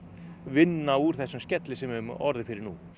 vinna úr þessum skelli sem við höfum orðið fyrir núna